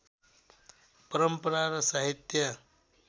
परम्परा र साहित्य